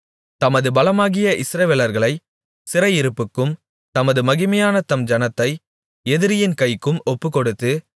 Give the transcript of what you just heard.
தமது பலமாகிய இஸ்ரவேலர்களை சிறையிருப்புக்கும் தமது மகிமையான தம் ஜனத்தை எதிரியின் கைக்கும் ஒப்புக்கொடுத்து